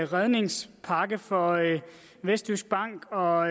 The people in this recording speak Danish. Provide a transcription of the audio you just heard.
redningspakke for vestjysk bank og